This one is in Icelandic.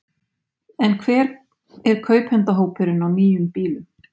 En hver er kaupendahópurinn á nýjum bílum?